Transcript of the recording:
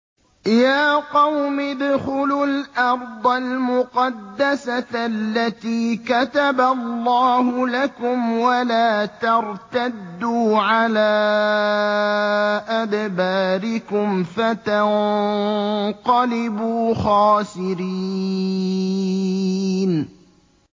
يَا قَوْمِ ادْخُلُوا الْأَرْضَ الْمُقَدَّسَةَ الَّتِي كَتَبَ اللَّهُ لَكُمْ وَلَا تَرْتَدُّوا عَلَىٰ أَدْبَارِكُمْ فَتَنقَلِبُوا خَاسِرِينَ